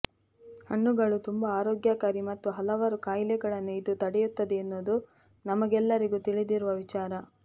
ಹಣ್ಣುಗಳು ತುಂಬಾ ಆರೋಗ್ಯಕಾರಿ ಮತ್ತು ಹಲವಾರು ಕಾಯಿಲೆಗಳನ್ನು ಇದು ತಡೆಯುತ್ತದೆ ಎನ್ನುವುದು ನಮಗೆಲ್ಲರಿಗೂ ತಿಳಿದಿರುವ ವಿಚಾರ